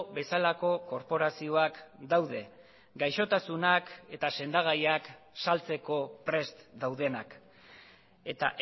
bezalako korporazioak daude gaixotasunak eta sendagaiak saltzeko prest daudenak eta